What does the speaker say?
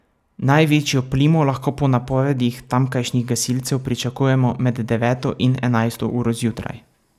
Največjo plimo lahko po napovedih tamkajšnjih gasilcev pričakujemo med deveto in enajsto uro zjutraj.